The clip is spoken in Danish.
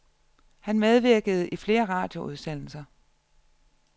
Han medvirkede i flere radioudsendelser.